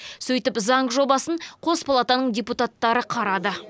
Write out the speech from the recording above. сөйтіп заң жобасын қос палатаның депутаттары қарады